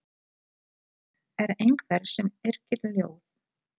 Skáld er einhver sem yrkir ljóð.